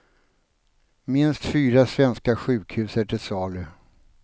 Minst fyra svenska sjukhus är till salu.